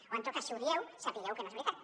o en tot cas si ho dieu sapigueu que no és veritat